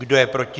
Kdo je proti?